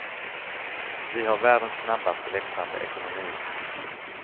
Vi har världens snabbast växande ekonomi.